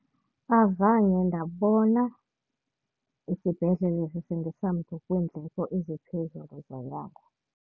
Azange ndabona isibhedlele sisindisa mntu kwiindleko eziphezulu zonyango.